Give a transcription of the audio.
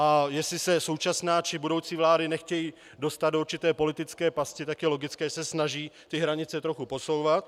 A jestli se současná či budoucí vlády nechtějí dostat do určité politické pasti, tak je logické, že se snaží ty hranice trochu posouvat.